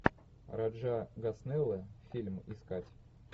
раджа госнелл фильм искать